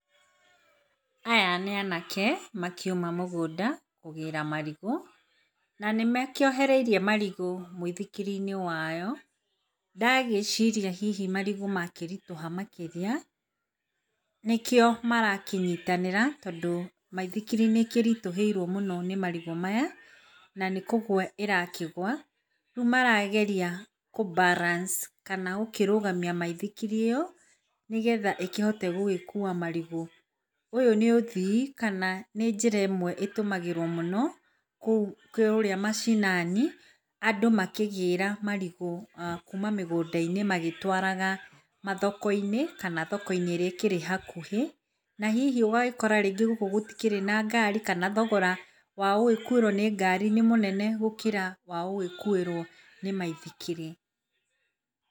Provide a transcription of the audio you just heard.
Aya nĩ anake makiuma mũgũnda kũgĩra marigũ, na nĩ makĩohereirie marigũ mũithikiri-inĩ wao. Ndagĩciria hihi marigũ makĩritũha makĩria, nĩkĩo marakĩnyitanĩra tondũ, maithikiri nĩkĩritũhĩirwo mũno nĩ marigũ maya, nĩ kũgwa ĩrakĩgwa, rĩu marageria kũ balance kana gũkĩrũgamia maithikiri ĩo nĩgetha ĩkĩhote gũkua marigũ. Ũyũ nĩ ũthii kana nĩ njĩra ĩmwe ĩtũmagĩrwo mũno kũrĩa mashinani andũ makĩgĩra marigũ kuma mĩgũnda-inĩ magĩtwaraga mathoko-inĩ kana thoko-inĩ ĩrĩa ĩkĩrĩ hakuhĩ, na hihi ũgagĩkora gũtikĩrĩ na ngari kana thogora wa gũgĩkuĩrwo nĩ ngari nĩ mũnene gũkĩra wa gũgĩkuĩrwo nĩ maithikiri.